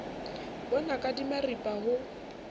bo naka di maripa ho